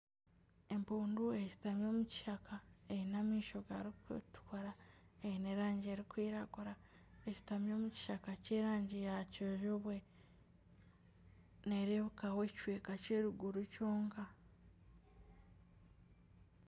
Empundu eshutami omu kishaka eine amaisho gakutukura, eine erangi erikwiragura, eshutami omukishaka Ky'erangi ya kijubwe nerebekaho ekicweka ky'eruguru kyonka.